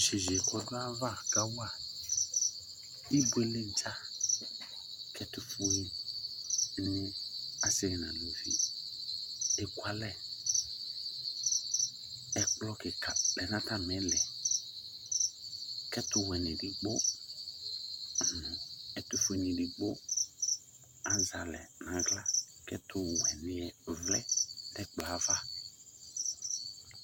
Yeye kɔ do ava kawa ibuele dza, ko ɛtofue ase no alavi ekualɛƐkplɔ kika lɛ no atame liKo ɛtowɛne no ɛtofue edigb, azɛ alɛ no ahla ko ɛtɛwɛneɛ vlɛ no ɛkplɔ ava